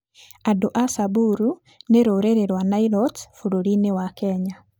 Andũ a Samburu nĩ rũrĩrĩ rwa Nilotes bũrũri-inĩ wa Kenya.